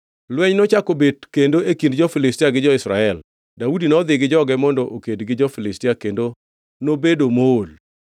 Lweny nochako bet kendo e kind jo-Filistia gi jo-Israel. Daudi nodhi gi joge mondo oked gi jo-Filistia, kendo nobedo mool.